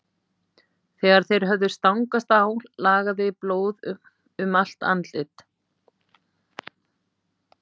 Þegar þeir höfðu stangast á lagaði blóð um allt andlit